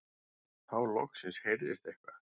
Þá loksins heyrðist eitthvað.